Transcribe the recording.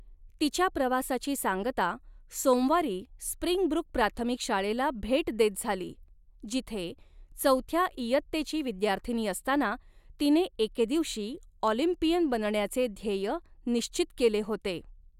तिच्या प्रवासाची सांगता सोमवारी स्प्रिंग ब्रूक प्राथमिक शाळेला भेट देत झाली, जिथे चौथ्या इयत्तेची विद्यार्थिनी असताना तिने एके दिवशी ऑलिंपियन बनण्याचे ध्येय निश्चित केले होते.